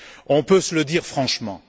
On peut se le dire franchement.